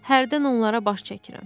Hərdən onlara baş çəkirəm.